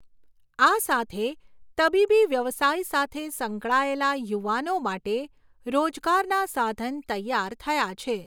આ સાથે તબીબી વ્યવસાય સાથે સંકળાયેલા યુવાનો માટે રોજગારના સાધન તૈયાર થયા છે.